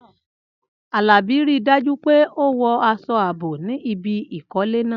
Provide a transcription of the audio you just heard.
Alabi, rí i dájú pé o wọ aṣọ ààbò ní ibi ìkọ́lé náà.